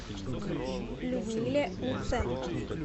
людмиле луценко